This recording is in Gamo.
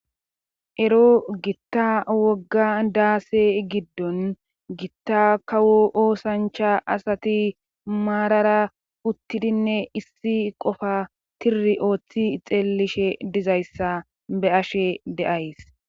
Ero gitta wogga daase giddon gitta kawo oosancha asati maarara uttidinne issi qofa tiri ooththi xeellishe dizayssa be ashe deays.